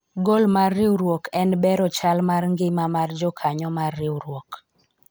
gol mar riwruok en bero chal mar ngima mar jokanyo mar riwruok